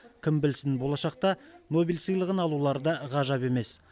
кім білсін болашақта нобель сыйлығын алулары да ғажап емес